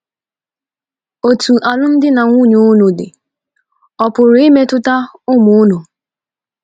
Otu alụmdi na nwunye unu dị ọ̀ pụrụ imetụta ụmụ unu?